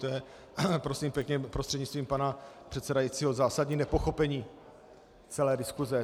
To je prosím pěkně, prostřednictvím pana předsedajícího, zásadní nepochopení celé diskuse.